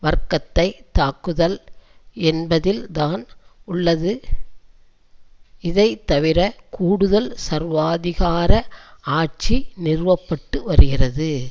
வர்க்கத்தை தாக்குதல் என்பதில்தான் உள்ளது இதைத்தவிர கூடுதல் சர்வாதிகார ஆட்சி நிறுவப்பட்டு வருகிறது